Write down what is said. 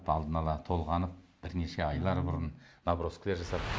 алдын ала толғанып бірнеше айлар бұрын наброскілер жасап